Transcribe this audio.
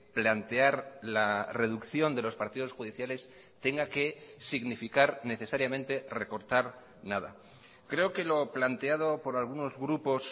plantear la reducción de los partidos judiciales tenga que significar necesariamente recortar nada creo que lo planteado por algunos grupos